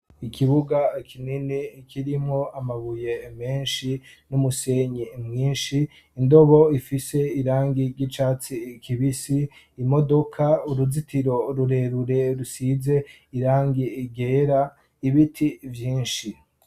Ikibuga kinini kirimwo amabuye menshi n'umusenyi mwinshi, indobo ifise irangi ry'icatsi kibisi ,imodoka uruzitiro rurerure rusize irangi ryera ibiti vynshi.